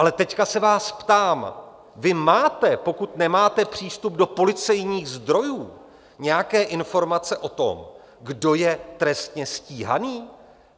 Ale teď se vás ptám: Vy máte - pokud nemáte přístup do policejních zdrojů - nějaké informace o tom, kdo je trestně stíhaný?